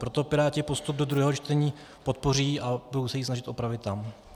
Proto Piráti postup do druhého čtení podpoří a budou se ji snažit opravit tam.